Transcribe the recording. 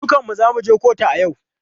Dukanmu za mu je kotu a yau.